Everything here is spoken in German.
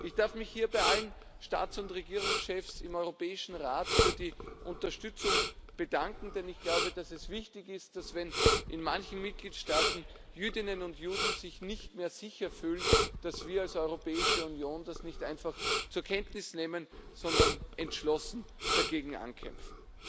Ich darf mich hier bei allen Staats und Regierungschefs im Europäischen Rat für die Unterstützung bedanken, denn ich glaube, dass es wichtig ist, dass, wenn in manchen Mitgliedstaaten Jüdinnen und Juden sich nicht mehr sicherfühlen, wir als Europäische Union das nicht einfach zur Kenntnis nehmen, sondern entschlossen dagegen ankämpfen.